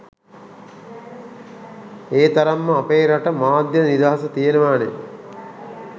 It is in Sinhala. ඒ තරම්ම අපේ රටේ මාධ්‍ය නිදහස තියෙනවනෙ.